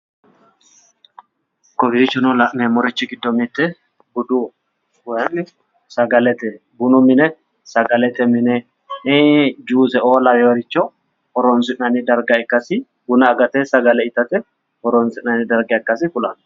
Kowiichono la'nemmorichi giddo mitte budu woy sagalete bunu mine sagalet mine juuse"o laweyooricho horonsi'anni darga ikkasi buna agate sagale itate horonsi'nani darga ikksasi kulawo